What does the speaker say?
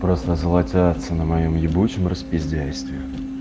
просто золотятся на моем ебучем распиздяйстве